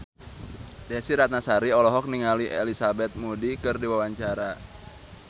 Desy Ratnasari olohok ningali Elizabeth Moody keur diwawancara